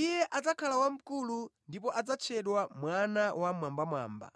Iye adzakhala wamkulu ndipo adzatchedwa Mwana wa Wammwambamwamba.